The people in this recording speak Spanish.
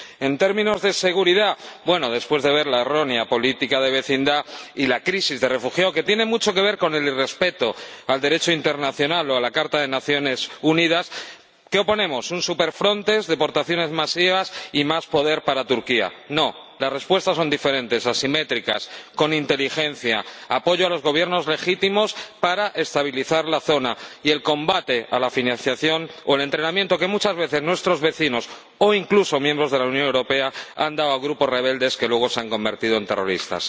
En términos de seguridad, después de ver la errónea política de vecindad y la crisis de los refugiados, que tiene mucho que ver con el irrespeto del Derecho internacional o de la Carta de las Naciones Unidas, ¿qué oponemos? Una super Frontex, deportaciones masivas y más poder para Turquía. No, las respuestas son diferentes, asimétricas, con inteligencia apoyo a los gobiernos legítimos para estabilizar la zona y el combate de la financiación o el entrenamiento que muchas veces nuestros vecinos, o incluso miembros de la Unión Europea, han dado a grupos rebeldes que luego se han convertido en terroristas.